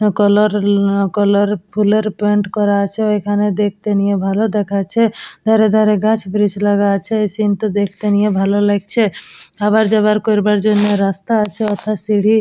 Colour - colour ফুলের plant করা আছে ওখানে দেখতে নিয়ে ভালো দেখাচ্ছে ধারে ধারে গাছ বীজ লাগানো আছে এই সিন্টো দেখতে নিয়ে ভালো লাগছে। আমার যাবার করবার জন্য রাস্তায় আছে অর্থাৎ সিঁড়ি --